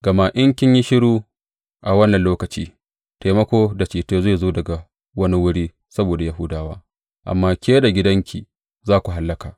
Gama in kin yi shiru a wannan lokaci, taimako da ceto zai zo daga wani wuri saboda Yahudawa, amma ke da gidanki za ku hallaka.